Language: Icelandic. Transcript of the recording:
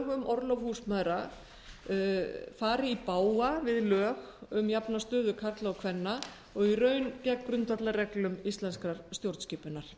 orlof húsmæðra fari í bága við lög um jafna stöðu karla og kvenna og í raun gegn grundvallarreglum íslenskrar stjórnskipunar